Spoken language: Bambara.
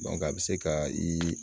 a bɛ se ka i